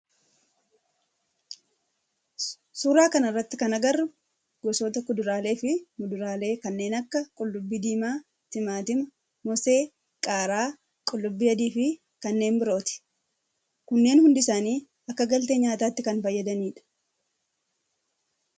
Suuraa kana irratti kan agarru gosoota kuduraalee fi muduraalee kanneen akka qullubbii diimaa, timaatima, moosee, qaaraa, qullubbii adii fi kanneen birooti. Kunneen hundi isaanii akka galtee nyaatatti kan fayyadanii dha.